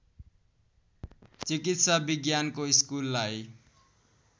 चिकित्सा विज्ञानको स्कुललाई